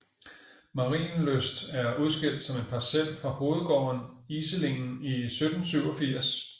Marienlyst er udskilt som en Parcel fra hovedgården Iselingen i 1787